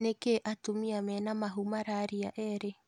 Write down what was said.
Nĩkĩĩ atumia mena mahuu mararĩa ĩri?